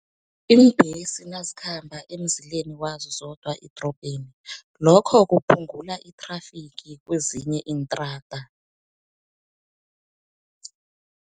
Iimbhesi nazikhamba emzileni wazo zodwa edorobheni, lokho kuphungula i-traffic kezinye intrada.